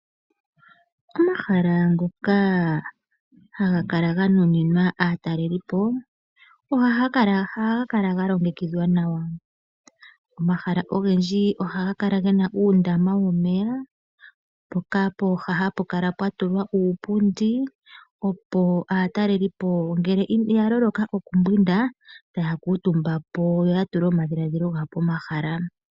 Omahala ngoka ha ga kala ga nuninwa aatalelipo oha ga kala ga longekidhwa nawa. Omahala ogendji oha ga kala ge na uundama womeya mpoka pooha ha pu kala pwa tulwa uupundi opo aatalelipo ngele ya loloka okumbwinda, ta ya kuutumba po yo ya tule omadhiladhilo gawo pomahala.